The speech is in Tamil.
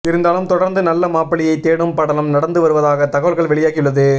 இருந்தாலும் தொடர்ந்து நல்ல மாப்பிள்ளையை தேடும் படலம் நடந்து வருவதாக தகவல்கள் வெளியாகியுள்ளது